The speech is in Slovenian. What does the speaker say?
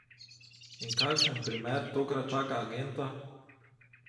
In kakšen primer tokrat čaka agenta?